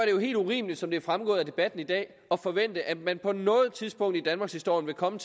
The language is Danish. jo helt urimeligt som det er fremgået af debatten i dag at forvente at man på noget tidspunkt i danmarkshistorien vil komme